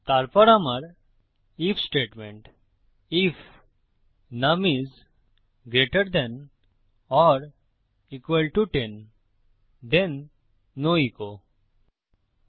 তারপর আমার if statement if num is greater than or equal to 10 then no echo যদি নুম 10 এর থেকে বড় বা সমান হয় তখন ইকো হয় না